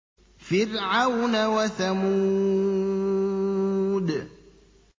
فِرْعَوْنَ وَثَمُودَ